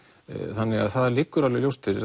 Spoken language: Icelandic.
þannig að það liggur alveg ljóst fyrir